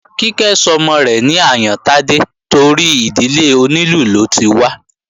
Kíkẹ́ sọmọ rẹ̀ ní Àyántádé torí ìdílé onílù ló ti wá